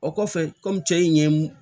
O kɔfɛ kɔmi cɛ in ɲɛ mun